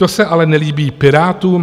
To se ale nelíbí Pirátům.